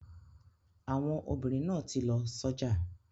Àwọn obìnrin náà ti lọ sọ́jà.